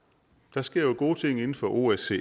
der sker jo gode ting inden for osce